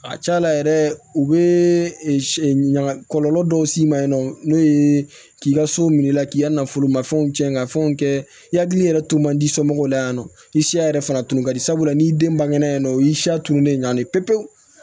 A ca la yɛrɛ u bɛ ɲaga kɔlɔlɔ dɔw s'i ma yen nɔ n'o ye k'i ka so minɛ i la k'i ka nafolomafɛnw tiɲɛ ka fɛnw kɛ i hakili yɛrɛ tun man di somɔgɔw la yan nɔ i siya yɛrɛ fana tun ka di sabula n'i den bangena yann'a u y'i siya tun de ɲɛ pe pe pe